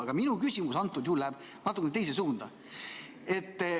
Aga minu küsimus läheb natuke teise suunda.